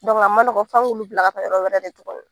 a man nɔgɔ, f'an k'olu bila ka taa yɔrɔ wɛrɛ de tugun.